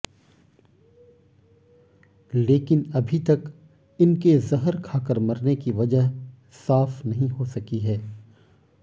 लेकिन अभी तक इनके जहर खाकर मरने की वजह साफ नहीं हो सकी है